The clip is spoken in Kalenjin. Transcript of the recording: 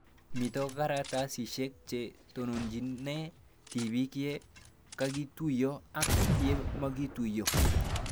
Mito karatasishek che tononchinee tipiik ye kakituyo ak ye makituyo